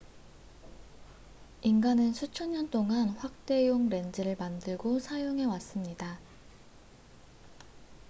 인간은 수천 년 동안 확대용 렌즈를 만들고 사용해 왔습니다